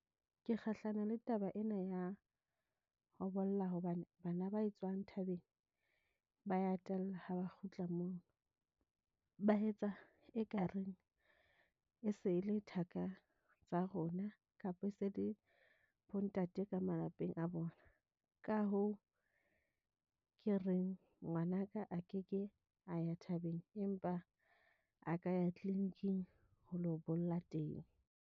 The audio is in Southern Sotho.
Ke kgahlano le taba ena ya ho bolla. Hobane bana ba etswang thabeng ba ya tella ha ba kgutla moo. Ba etsa ekareng e se e le thaka tsa rona, kapa e se le bo ntate ka malapeng a bona. Ka hoo ke reng ngwanaka a keke a ya thabeng, empa a ka ya clinic-ing ho lo bolla teng.